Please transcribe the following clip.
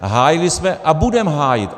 Hájili jsme a budeme hájit.